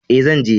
E, zan je.